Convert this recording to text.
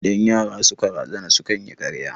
Idan yara suka razana sukan yi karya